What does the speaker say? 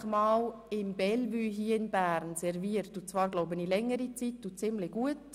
Er hat nämlich einmal – soweit ich weiss über längere Zeit und ziemlich erfolgreich – im Bellevue in Bern serviert.